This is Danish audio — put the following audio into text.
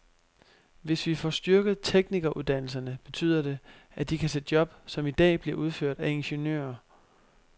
Hvis vi får styrket teknikeruddannelserne, betyder det, at de kan tage job, som i dag bliver udført af ingeniører.